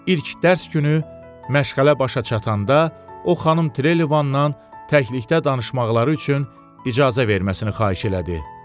İlk dərs günü məşğələ başa çatanda, o xanım Trelevandan təklikdə danışmaqları üçün icazə verməsini xahiş elədi.